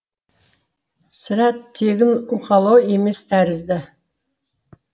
сірә тегін уқалау емес тәрізді